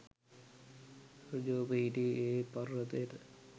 ඍජුව පිහිටි ඒ පර්වතයට